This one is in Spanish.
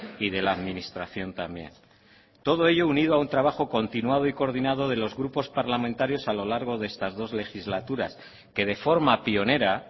y de la administración también todo ello unido a un trabajo continuado y coordinado de los grupos parlamentarios a lo largo de estas dos legislaturas que de forma pionera